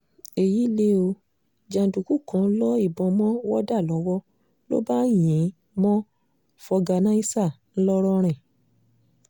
èyí lẹ̀ ọ́ jàǹdùkú kan lo ìbọn mọ́ wọ́dà lọ́wọ́ ló bá yìn ín mọ́ fọ̀gànàìsà ńlọrọrìn